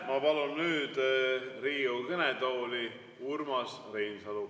Ma palun nüüd Riigikogu kõnetooli Urmas Reinsalu.